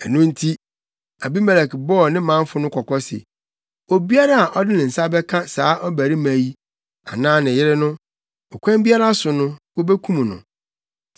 Ɛno nti, Abimelek bɔɔ ne manfo no kɔkɔ se, “Obiara a ɔde ne nsa bɛka saa ɔbarima yi, anaa ne yere no, ɔkwan biara so no wobekum no.”